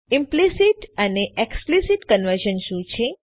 implicit અને explicit conversion શું છે